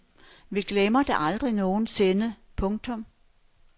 Vi glemmer det aldrig nogen sinde. punktum